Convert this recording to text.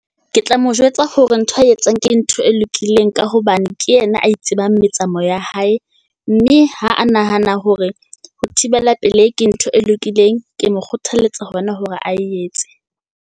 Ke tla mo jwetsa hore ntho ae etsang ke ntho e lokileng ka hobane ke yena a tsebang metsamao ya hae. Mme ha a nahana hore ho thibela pelehi ke ntho e lokileng. Ke mo kgothaletsa ho yena hore a etse.